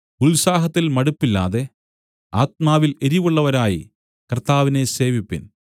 ഉത്സാഹത്തിൽ മടുപ്പില്ലാതെ ആത്മാവിൽ എരിവുള്ളവരായി കർത്താവിനെ സേവിപ്പിൻ